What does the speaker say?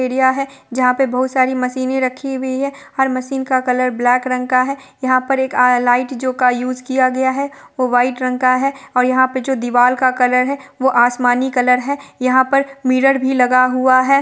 Area है जहाँ पर बहुत सारी मशीनें रखी हुई है हर मशीन का कलर ब्लैक रंग का है यहाँ पर एक आया लाइट जो का यूज़ किया गया है वह व्हाइट रंग का है और यहाँ पर जो दीवाल का कलर है वह आसमानी कलर है यहाँ पर मिरर भी लगा हुआ है।